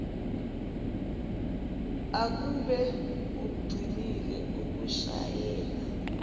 akube ugcinile ukushayela